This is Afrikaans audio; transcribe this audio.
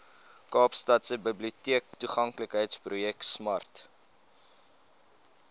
kaapstadse biblioteektoeganklikheidsprojek smart